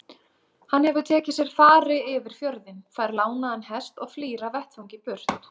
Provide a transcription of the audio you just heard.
Hann hefur tekið sér fari yfir fjörðinn, fær lánaðan hest og flýr af vettvangi- burt!